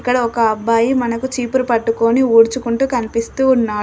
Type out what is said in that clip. ఇక్కడ ఒక అబ్బాయి మనకు చీపురు పట్టుకొని ఊడ్చుకుంటూ కనిపిస్తూ ఉన్నాడు.